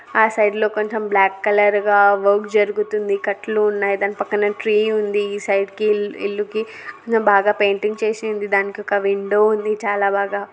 ఆ సైడ్ లో కొంచెం బ్లాక్ కలర్ గా వర్క్ జరుగుతుంది కట్లు ఉన్నాయి దాని పక్కన క్లే ఉంది ఈ సైడ్ కి ఇల్లు ఇల్లుకి బాగా పెయింటింగ్ చేసి ఉంది దానికొక విండో ఉంది చాలా బాగా---